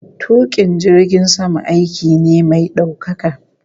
Tukin jirgin sama aiki ne mai daukaka